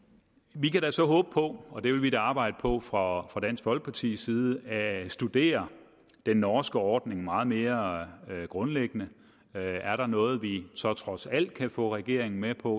vi kan da så håbe på og det vil vi da arbejde på fra dansk folkepartis side at vi kan studere den norske ordning meget mere grundlæggende er der noget vi så trods alt kan få regeringen med på